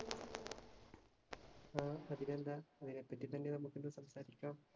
ആഹ് അതിനെന്താ അതിനെ പറ്റി തന്നെ നമുക്കിന്നു സംസാരിക്കാം.